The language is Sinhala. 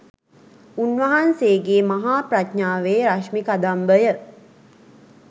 උන්වහන්සේගේ මහා ප්‍රඥාවේ රශ්මි කදම්බය